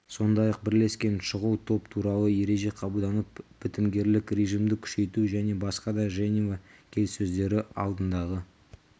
сондай-ақ бірлескен шұғыл топ туралы ереже қабылданып бітімгерлік режимді күшейту және басқа да женева келіссөздері алдындағы